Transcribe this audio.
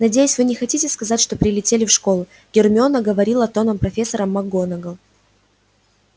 надеюсь вы не хотите сказать что прилетели в школу гермиона говорила тоном профессора макгонагалл